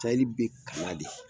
Sahɛi be ka na de